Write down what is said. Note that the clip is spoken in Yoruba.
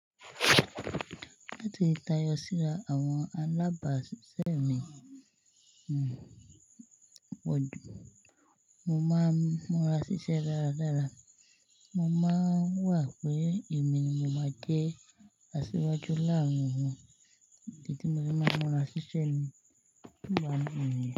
Láti tayọ síra àwọn alábàsiṣẹ́ mi, mo máa ń múra ṣiṣẹ́ dáradára. Mo máa ń wà pé èmi ni mo máa jé aṣíwájú láàárín wọn, idi ti mo se máa ń múra ṣiṣẹ́ nigba mii niyen.